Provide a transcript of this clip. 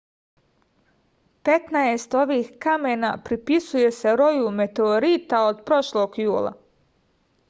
petnaest ovih kamena pripisuje se roju meteorita od prošlog jula